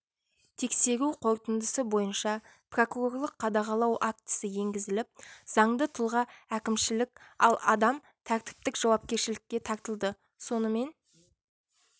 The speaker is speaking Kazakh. тексеру қорытындысы бойынша прокурорлық қадағалау актісі енгізіліп заңды тұлға әкімшілік ал адам тәртіптік жауапкершілікке тартылды сонымен